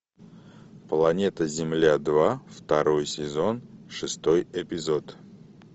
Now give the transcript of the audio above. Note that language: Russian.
планета земля два второй сезон шестой эпизод